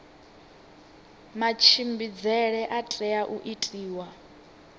matshimbidzele a tea u itiwa